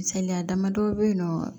Misaliya damadɔ bɛ yen nɔ